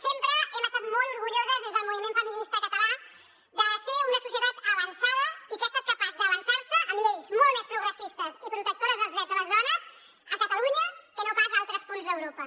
sempre hem estat molt orgulloses des del moviment feminista català de ser una societat avançada i que ha estat capaç d’avançar se amb lleis molt més progressistes i protectores dels drets de les dones a catalunya que no pas a altres punts d’europa